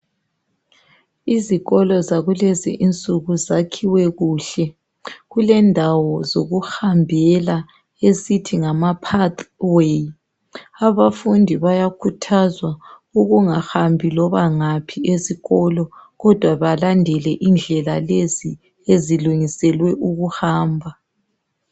izikolo zakulezi insuku zakhiwe kuhle kulendawo zokuhambela esithi ngama path way abafundi bayakhuthazwa ukungahambi loba ngaphi esikolo kodwa balandele indlela lezi ezilungiselwe ukuhamba